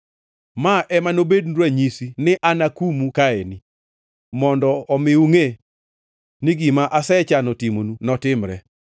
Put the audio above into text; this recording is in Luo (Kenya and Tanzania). “ ‘Ma ema nobednu ranyisi ni anakumu kaeni, mondo omi ungʼe ni gima asechano timonu notimre.’